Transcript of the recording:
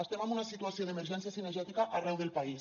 estem en una situació d’emergència cinegètica arreu del país